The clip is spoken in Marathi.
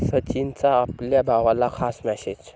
सचिनचा आपल्या भावाला खास मेसेज